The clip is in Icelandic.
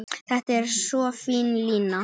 Þetta er svo fín lína.